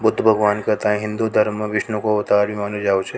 बुद्ध भगवन को हिन्दू धर्म में विष्णु का अवतार ही मांनो जावा छ।